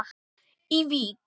í Vík.